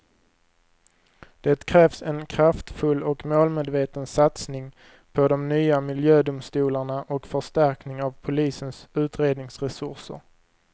Det krävs en kraftfull och målmedveten satsning på de nya miljödomstolarna och förstärkning av polisens utredningsresurser.